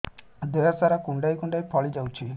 ଦେହ ସାରା କୁଣ୍ଡାଇ କୁଣ୍ଡାଇ ଫଳି ଯାଉଛି